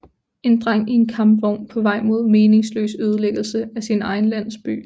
En dreng i en kampvogn på vej mod meningsløs ødelæggelse af sin egen landsby